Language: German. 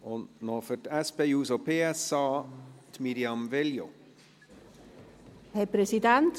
Noch für die SP-JUSO-PSA, Mirjam Veglio.